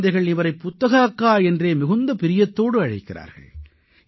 குழந்தைகள் இவரை புத்தக அக்கா என்றே மிகுந்த பிரியத்தோடு அழைக்கிறார்கள்